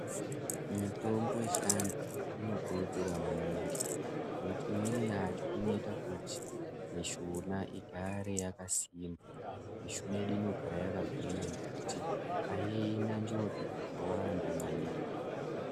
Mitombo yechiandu inokurudzirwa maningi nekuti imweni yacho inoita kuti mishuna igare yakasimba. Mishuna yedu inogara yakagwinya nekuti ahina njodzi dzakawanda maningi.